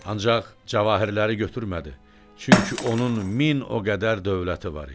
Ancaq cavahirləri götürmədi, çünki onun min o qədər dövləti var idi.